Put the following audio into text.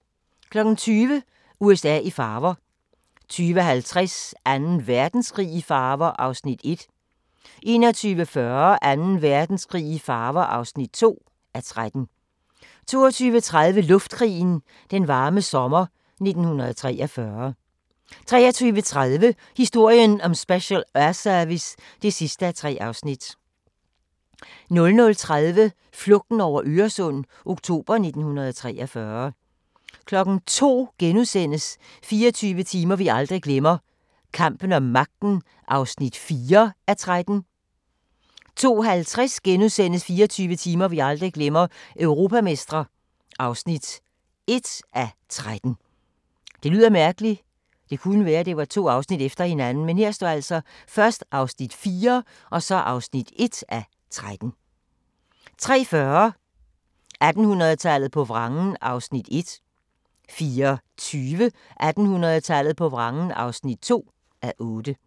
20:00: USA i farver 20:50: Anden Verdenskrig i farver (1:13) 21:40: Anden Verdenskrig i farver (2:13) 22:30: Luftkrigen – Den varme sommer 1943 23:30: Historien om Special Air Service (3:3) 00:30: Flugten over Øresund – oktober 1943 02:00: 24 timer vi aldrig glemmer – kampen om magten (4:13)* 02:50: 24 timer vi aldrig glemmer – europamestre (1:13)* 03:40: 1800 tallet på vrangen (1:8) 04:20: 1800 tallet på vrangen (2:8)